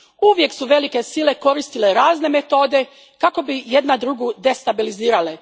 Uvijek su velike sile koristile razne metode kako bi jedna drugu destabilizirale.